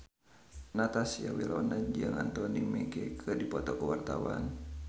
Natasha Wilona jeung Anthony Mackie keur dipoto ku wartawan